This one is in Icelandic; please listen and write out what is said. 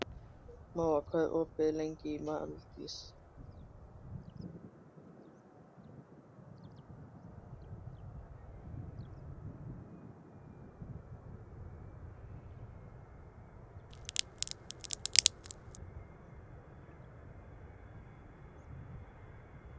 Það var reytingur af fólki og salan gekk bærilega.